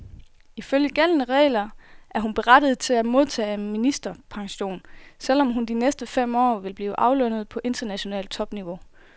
Ifølge gældende regler er hun berettiget til at modtage ministerpension, selv om hun de næste fem år vil blive aflønnet på internationalt topniveau.